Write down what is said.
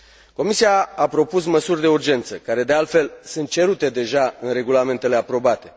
Comisia a propus măsuri de urgență care, de altfel, sunt cerute deja în regulamentele aprobate.